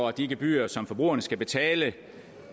at de gebyrer som forbrugerne skal betale